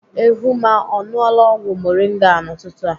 Ehumma ọ ṅụọla ọgwụ moringa a n'ụtụtụ a?